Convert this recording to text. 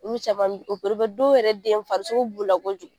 Olu caman bi dɔw yɛrɛ den farisoko b'u la kojugu.